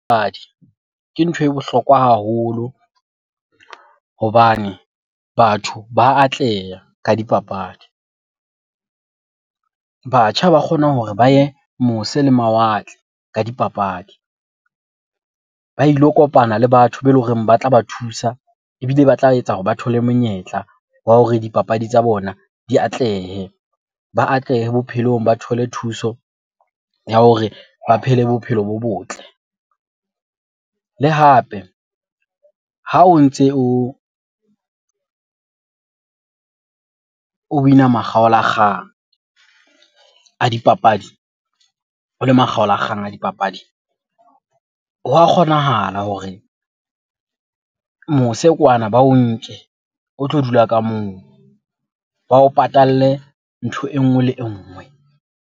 Ke nthwe bohlokwa haholo hobane batho ba atleha ka dipapadi. Batjha ba kgona hore ba ye mose le mawatle ka dipapadi ba ilo kopana le batho beleng hore ba tla ba thusa ebile ba tla etsa hore ba thole monyetla wa hore dipapadi tsa bona di atlehe. Ba atlehe bophelong, ba thole thuso ya hore ba phele bophelo bo botle. Le hape ha o ntse o o win-a makgaolakgang a dipapadi, o le makgaolakgang a dipapadi. Ho wa kgonahala hore mose kwana ba o nke o tlo dula ka moo. Ba o patale ntho e nngwe le e nngwe.